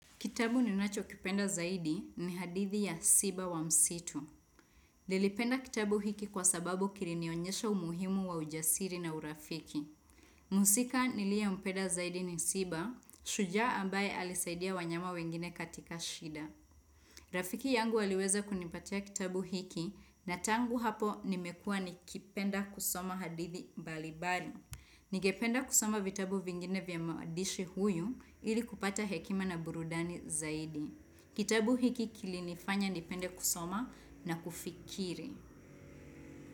Kitabu ninachokipenda zaidi ni hadithi ya Siba wa msitu. Nilipenda kitabu hiki kwa sababu kilinionyesha umuhimu wa ujasiri na urafiki. Mhusika niliempenda zaidi ni Siba, shujaa ambaye alisaidia wanyama wengine katika shida. Rafiki yangu aliweza kunipatia kitabu hiki na tangu hapo nimekua nikipenda kusoma hadithi mbalimbali. Ningependa kusoma vitabu vingine vya mwadishi huyu hili kupata hekima na burudani zaidi. Kitabu hiki kilinifanya nipende kusoma na kufikiri.